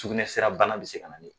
Sukunɛ sira bana be se ka na ni